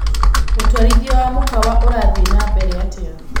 ũtwarithia wa mũkawa ũrathiĩ na mbere atĩa